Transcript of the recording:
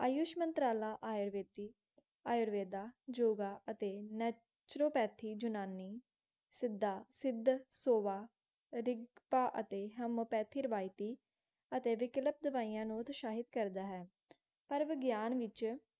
ਆਯੁਰਵੇਦ, ਯੋਗਾ ਅਤੇ naturopathy ਜੁਨਾਨੀ, ਸਿੱਧਾ, ਸਿੱਧ, ਸੋਵਾ, ਰਿਗਤਾ ਅਤੇ homeopathy ਰਿਵਾਇਤੀ ਅਤੇ ਵਿਕਲਪ ਦਵਾਈਆਂ ਨੂੰ ਦੁਸ਼ਾਹਿਤ ਕਰਦਾ ਹੈ ਪਰ ਵਿਗਿਆਨ ਵਿੱਚ